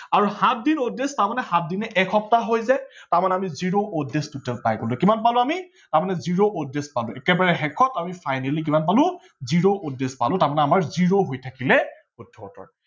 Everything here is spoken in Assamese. আৰু সাত দিন odd days মানে সাত দিনে এক সপ্তাহ হৈ যায় তাৰ মানে আমি zero odd days total পাই গলো কিমান পালো আমি zero odd days পাই গলো একে বাৰে শেষত আমি finally কিমান পালো zero odd days পালো তাৰমানে আমাৰ zero হৈ থাকিলে শুদ্ধ উত্তৰ